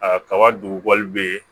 A ka kaba dugu wali be